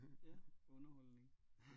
Ja underholdning